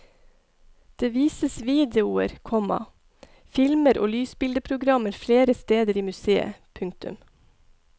Det vises videoer, komma filmer og lysbildeprogrammer flere steder i museet. punktum